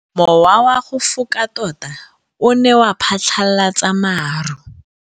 Mowa o wa go foka tota o ne wa phatlalatsa maru.